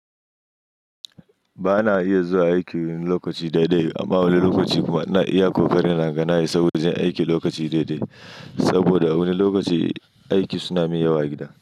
Ba na iya zuwa aiki lokaci dai dai amma wani lokaci kuma na iya ƙoƙari naga na isa wajen aiki lokaci dai dai. Saboda wani lokaci aiki suna min yawa a gida.